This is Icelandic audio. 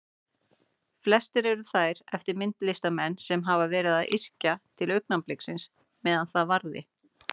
Flestar eru þær eftir myndlistarmenn sem hafa verið að yrkja til augnabliksins meðan það varði.